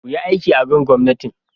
kuyi aiki akan gomnatin